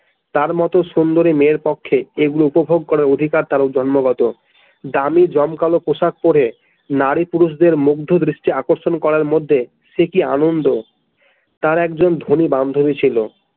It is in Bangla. তার মতো সুন্দরী মেয়ের পক্ষে এইগুলো উপভোগ করার অধিকার তার জন্মগত দামি জমকালো পোশাক পরে নারী পুরুষদের মুগ্ধ দৃষ্টি আকর্ষণ করার মধ্যে সে কি আনন্দ তার একজন ধনী বান্ধবী ছিল।